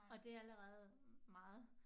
Og det allerede meget